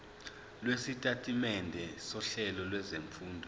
lwesitatimende sohlelo lwezifundo